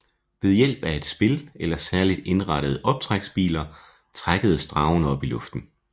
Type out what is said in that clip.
Ved hjælp af et spil eller særligt indrettede optræksbiler trækkes dragen op i luften